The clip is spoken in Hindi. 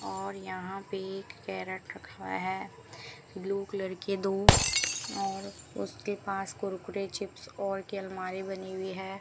और यहां पे एक कैरेट रखा है ब्लू कलर के दो और उसके पास कुरकुरे चिप्स और के अलमारी बनी हुई है।